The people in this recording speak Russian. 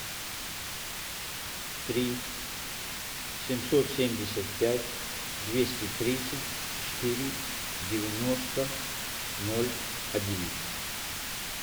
три семьсот семьдесят пять двести тридцать четыре девяносто ноль одиннадцать